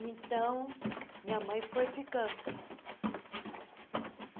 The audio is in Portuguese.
Então, minha mãe foi ficando.